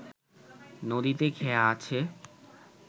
নদীতে খেয়া আছে